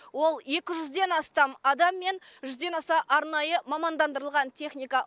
ол екі жүзден астам адам мен жүзден аса арнайы мамандандырылған техника